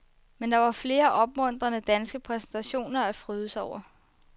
Men der var flere opmuntrende danske præstationer at fryde sig over.